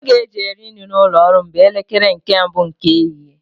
Oge e ji eri nri n'ụlọ ọrụ m bụ elekere nke mbụ nke ehihie